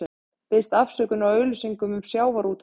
Biðst afsökunar á auglýsingu um sjávarútvegsmál